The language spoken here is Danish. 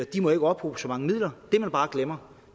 de må ikke ophobe så mange midler det man bare glemmer